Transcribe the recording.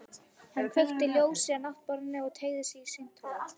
Hann kveikti ljósið á náttborðinu og teygði sig í símtólið.